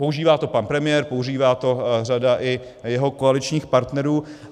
Používá to pan premiér, používá to řada i jeho koaličních partnerů.